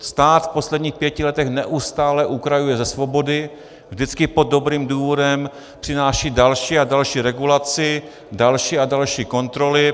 Stát v posledních pěti letech neustále ukrajuje ze svobody, vždycky pod dobrým důvodem přináší další a další regulace, další a další kontroly.